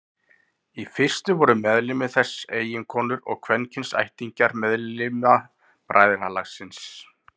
Í fyrstu voru meðlimir þess eiginkonur og kvenkyns ættingjar meðlima bræðralagsins.